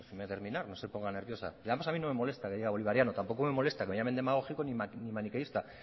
déjeme terminar no se ponga nerviosa además no me molesta que diga bolivariano tampoco me molesta que me llamen demagógico ni maniqueísta